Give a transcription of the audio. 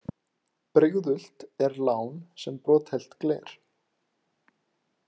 Brigðult er lán sem brothætt gler.